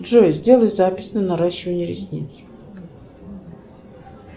джой сделай запись на наращивание ресниц